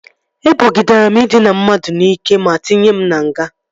Ebogidere m ịdịna mmadụ n'ike ma tinye m na nga